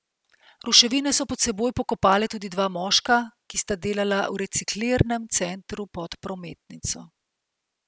Ruševine so pod seboj pokopale tudi dva moška, ki sta delala v reciklirnem centru pod prometnico.